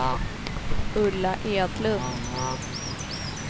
Ulla Edlund